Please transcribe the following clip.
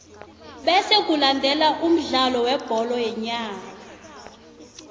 bese kulandele umdlalo webholo yenyawo